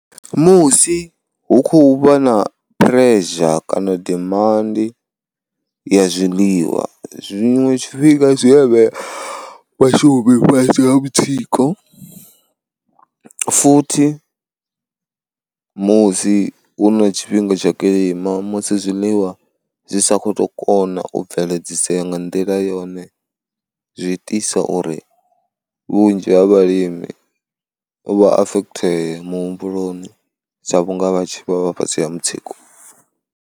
Musi hu khou vha na pressure kana dimandi ya zwiḽiwa, zwiṅwe tshifhinga zwi vhea vhashumi fhasi ha mutsiko futhi musi hu na tshifhinga tsha kilima musi zwiḽiwa zwi sa kho to kona u bveledziseya nga nḓila yone zwiitisa uri vhunzhi ha vhalimi vha afethee muhumbuloni sa vhunga vha tshi vha vha fhasi ha mutsiko.